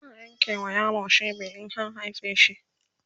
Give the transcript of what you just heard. tana Yanke ma yaro cibi in an haife shi